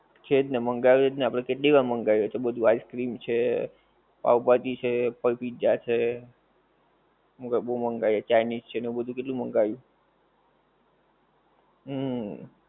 છે ને મંગાયુંજ છેજ ને આપડે કેટલી વાર મંગાયું છે ને બધું ice cream છે પાવ ભાજી છે પછી pizza છે બહું બહું મંગાયું chinese આવું બધું કેટલું બધું મંગાયું હમ